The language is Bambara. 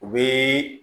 U bɛ